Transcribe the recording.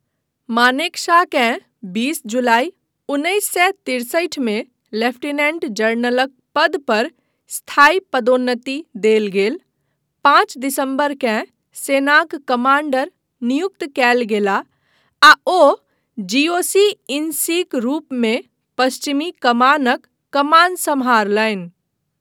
मानेकशॉकेँ बीस जुलाइ उन्नैस सए तिरसठि मे लेफ्टिनेंट जनरलक पद पर स्थायी पदोन्नति देल गेल, पाँच दिसम्बरकेँ सेनाक कमाण्डर नियुक्त कयल गेलाह आ ओ जीओसी इन सीक रूपमे पश्चिमी कमानक कमान सम्हारलनि।